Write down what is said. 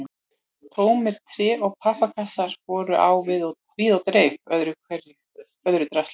Tómir tré- og pappakassar voru á víð og dreif ásamt öðru drasli.